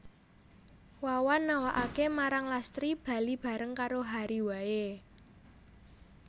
Wawan nawakaké marang Lastri bali bareng karo Hary waé